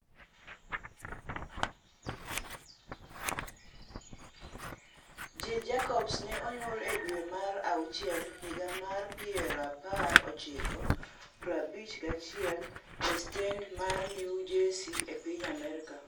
Jill Jacobs ne onyuol e dwe mar auchiel higa mar pirapar ochiko prabich gi achiel e stenda mar New Jersey e piny Amerka.